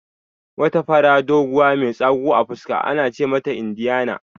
Wata fara, doguwa mai tsagu a fuska ana ce mata Indiyana